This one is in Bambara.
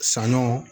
Saɲɔ